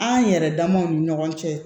An yɛrɛ damaw ni ɲɔgɔn cɛ